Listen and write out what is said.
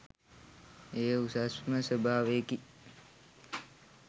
එය උසස්ම ස්වභාවයකි.